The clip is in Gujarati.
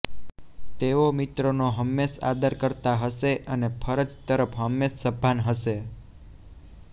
તેઓ મિત્રનો હંમેશ આદર કરતા હશે અને ફરજ તરફ હંમેશ સભાન હશે